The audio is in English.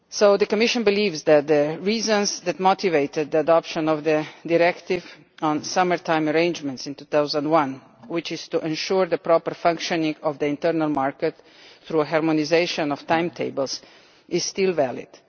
The Commission believes that the reason that motivated the adoption of the Directive on summer-time arrangements in 2001, which was to ensure the proper functioning of the internal market through harmonisation of timetables, is still valid.